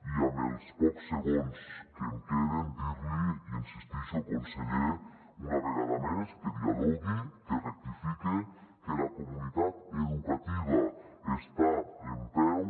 i amb els pocs segons que em queden dir·li i hi insistixo conseller una ve·gada més que dialogue que rectifique que la comunitat educativa està en peu